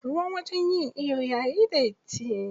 Ruwan wajen yin iyo yayi datti.